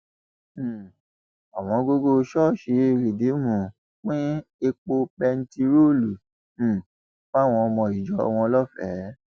um òwòǹgògò ṣọọṣì rìdíìmù pín epo bẹntiróòlù um fáwọn ọmọ ìjọ wọn lọfẹẹ